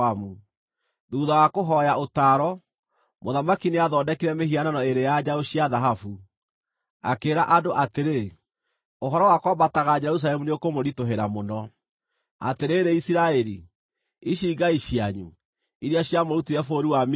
Thuutha wa kũhooya ũtaaro, mũthamaki nĩathondekire mĩhianano ĩĩrĩ ya njaũ cia thahabu. Akĩĩra andũ atĩrĩ, “Ũhoro wa kwambataga Jerusalemu nĩũkũmũritũhĩra mũno. Atĩrĩrĩ Isiraeli, ici ngai cianyu, iria ciamũrutire bũrũri wa Misiri.”